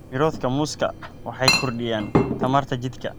Miroodhka muuska waxay kordhiyaan tamarta jidhka.